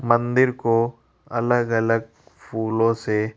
मंदिर को अलग अलग फूलों से--